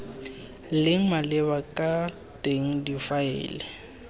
leng maleba ka teng difaele